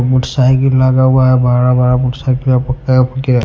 motorcycle लगा हुआ है बड़ा बड़ा मोटरसाइकिल या--